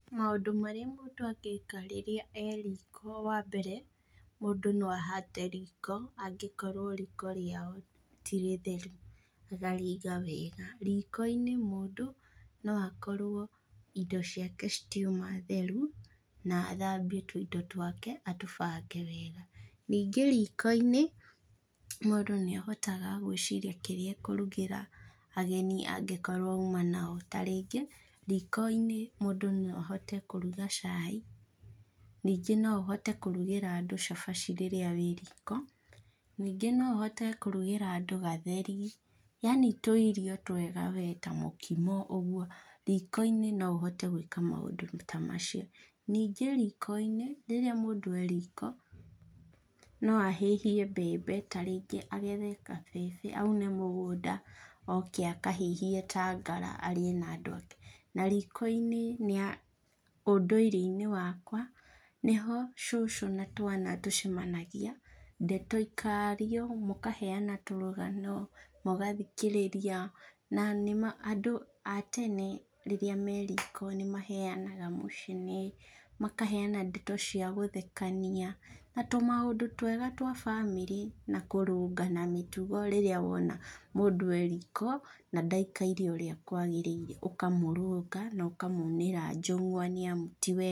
Maundũ marĩa mũndũ angĩka rĩrĩa e riko wa mbere, mũndũ no ahate riko, angĩkorwo riko rĩao tirĩtheru, akarĩiga wega. Riko-inĩ mũndũ no akorwo indo ciake citiuma theru, na athambie tũindo twake, atũbange wega, ningĩ riko-inĩ, mũndũ nĩahotaga gwĩciria kĩrĩa akũrugĩra ageni, angĩkorwo auma nao, ta rĩngĩ, riko-inĩ, mũndũ no ahote kũruga cai, ningĩ no ũhote kũrugĩra andũ cabaci rĩrĩa wĩ riko, ningĩ no ũhote kũrugĩra andũ gatheri, yani tũirio twega we ta mũkimo ũguo, riko-inĩ no ũhote gwĩka maũndũ ta macio. Ningĩ riko-inĩ rĩrĩa mũndũ e riko, no ahĩhie mbembe ta ringĩ agethe kabebe, aune mũgũnda, oke akahĩhie ta ngara arĩe na andũ ake. Na riko-inĩ nĩ ũndũire-inĩ wakwa, nĩho cũcũ natwana tũcemanagia, ndeto ikario, mũkaheana tũrũgano, mũgathikĩrĩria, na nĩ ma andũ a tene rĩrĩa me riko nĩmaheanaga mũcene, makaheana ndeto ciagũthekania, na tũ maũndũ twega twa bamĩrĩ, na kũrũngana mĩtugo rĩrĩa wona mũndũ e riko, na ndaikaire ũrĩa kwagĩrire, ũkamũrũnga na ũkamunĩra njũng'wa, nĩamu ti wega.